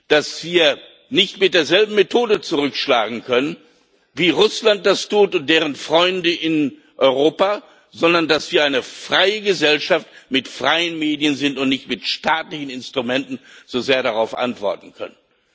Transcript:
dass wir nicht mit derselben Methode zurückschlagen können, wie Russland und deren Freunde in Europa das tun, sondern dass wir eine freie Gesellschaft mit freien Medien sind und nicht mit staatlichen Instrumenten darauf antworten können.